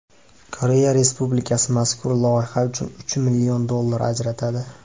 Koreya Respublikasi mazkur loyiha uchun uch million dollar ajratadi.